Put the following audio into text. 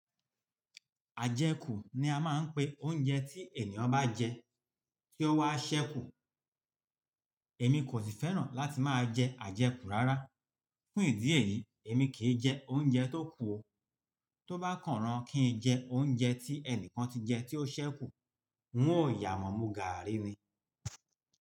Àjẹ́kù ni a máa ń pe oúnjẹ tí ẹni ọ bá jẹ, tí ó wá ṣẹ́ kù. Èmi kò sì fẹ́ràn láti máa jẹ àjẹ́kù rárá. Fún ìdí èyí, èmi kì í jẹ oúnjẹ tó kù o. Tóbá kàn án rán kí n jẹ oúnjẹ tí ẹni kan ti jẹ tí ó ṣẹ́ kù, n óò yà mọ̀, mu ga àrí ni.